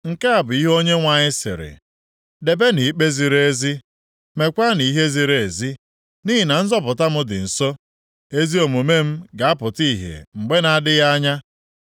Nke a bụ ihe Onyenwe anyị sịrị, “Debenụ ikpe ziri ezi, meekwanụ ihe ziri ezi. Nʼihi na nzọpụta m dị nso, ezi omume m ga-apụta ihe mgbe na-adịghị anya.